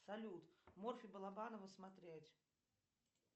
салют морфий балабанова смотреть